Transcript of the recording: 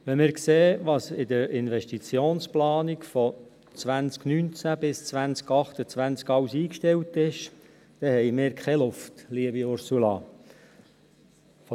Wenn wir sehen, was in der Investitionsplanung von 2019 bis 2028 alles eingestellt ist, dann haben wir keine Luft, liebe Ursula Marti.